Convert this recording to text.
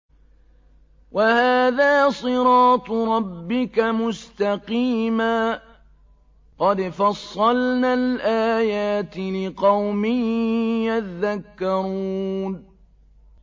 وَهَٰذَا صِرَاطُ رَبِّكَ مُسْتَقِيمًا ۗ قَدْ فَصَّلْنَا الْآيَاتِ لِقَوْمٍ يَذَّكَّرُونَ